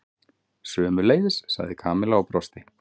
Sömuleiðis sagði Kamilla og brosti.